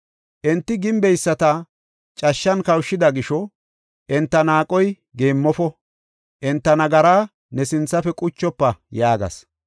Enti gimbeyisata cashshan kawushida gisho, enta naaqoy geemmofo; enta nagaraa ne sinthafe quchofa” yaagas.